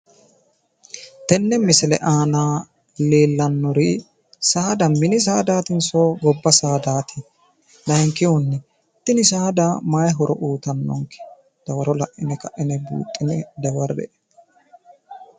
Tenne misile aana leellannori saada mini saadaatinso gobba saadaati? Layinkihunni tini saada mayi horo uyitannonke? Dawaro la'ine ka'ine buuxxine qolle"e.